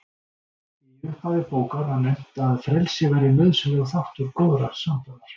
Í upphafi bókar var nefnt að frelsi væri nauðsynlegur þáttur góðrar sambúðar.